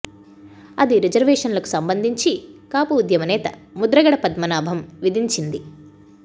అది రిజర్వేషన్లకు సంబంధించి కాపు ఉద్యమ నేత ముద్రగడ పద్మనాభం విధించింది